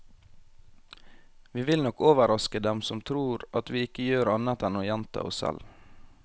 Vi vil nok overraske dem som tror at vi ikke gjør annet enn å gjenta oss selv.